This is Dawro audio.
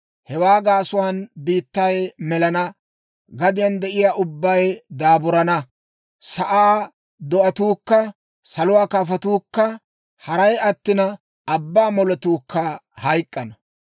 Hewaa gaasuwaan biittay melana; gadiyaan de'iyaa ubbay daaburana. Sa'aa do'atuukka, saluwaa kafotuukka, haray attina, abbaa moletuukka hayk'k'ana.